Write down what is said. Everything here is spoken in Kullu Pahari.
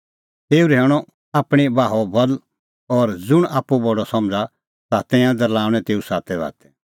तेऊ रहैऊअ आपणीं बाहो बल और ज़ुंण आप्पू बडअ समझ़ा तै तिंयां दरल़ाऊऐ तेऊ सातैबातै